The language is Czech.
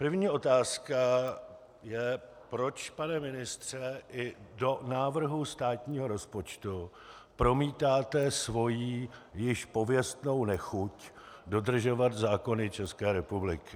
První otázka je, proč, pane ministře, i do návrhu státního rozpočtu promítáte svoji již pověstnou nechuť dodržovat zákony České republiky.